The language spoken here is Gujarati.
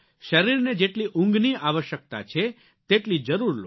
શરીરને જેટલી ઊંઘની આવશ્યકતા છે તેટલી જરૂર લો